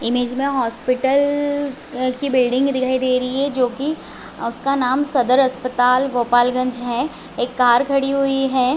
Image में hospital की building दिखाई दे रही है जो की उसका नाम सदर अस्पताल गोपाल गंज है एक कार खड़ी हुई है।